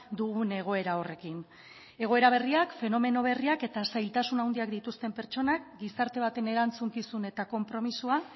dugun egoera horrekin egoera berriak fenomeno berriak eta zailtasun handiak dituzten pertsonak gizarte baten erantzukizun eta konpromisoa